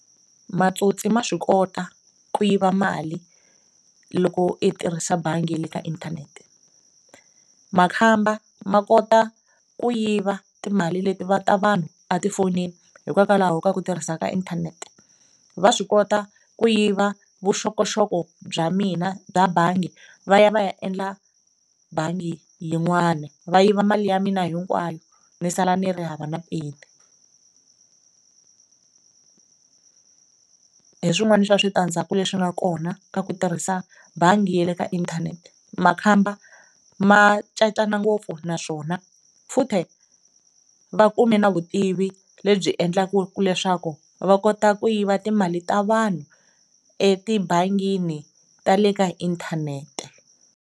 Matsotsi ma swi kota ku yiva mali loko i tirhisa bangi le ka inthanete, makhamba ma kota ku yiva timali leti va ta vanhu etifonini hikwalaho ka ku tirhisa ka inthanete, va swi kota ku yiva vuxokoxoko bya mina bya bangi va ya va ya endla bangi yin'wana va yiva mali ya mina hinkwayo ni sala ni ri hava na peni. Hi swin'wana swa switandzhaku leswi nga kona ka ku tirhisa bangi ya le ka inthanete, makhamba ma cacana ngopfu naswona futhi va kume na vutivi lebyi endlaka leswaku va kota ku yiva timali ta vanhu etibangini tale ka inthanete.